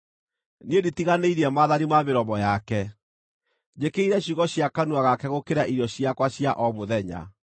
Niĩ nditiganĩirie maathani ma mĩromo yake; njĩkĩrĩire ciugo cia kanua gake gũkĩra irio ciakwa cia o mũthenya.